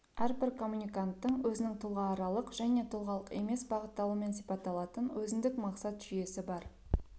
әрбір коммуниканттың өзінің тұлғааралық және тұлғалық емес бағытталуымен сипатталатын өзіндік мақсат жүйесі бар